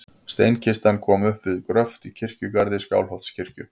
Steinkistan kom upp við gröft í kirkjugarði Skálholtskirkju.